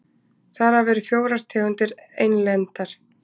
þar af eru fjórar tegundir einlendar